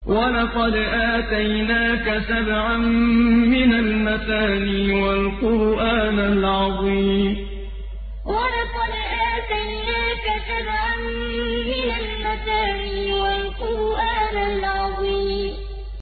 وَلَقَدْ آتَيْنَاكَ سَبْعًا مِّنَ الْمَثَانِي وَالْقُرْآنَ الْعَظِيمَ وَلَقَدْ آتَيْنَاكَ سَبْعًا مِّنَ الْمَثَانِي وَالْقُرْآنَ الْعَظِيمَ